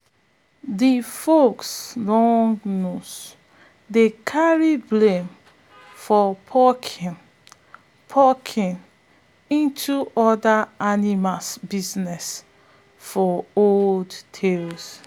de fox long nose dey carry blame for poking poking into other animal business for old tales